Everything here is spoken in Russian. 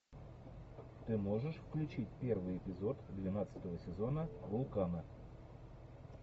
ты можешь включить первый эпизод двенадцатого сезона вулкана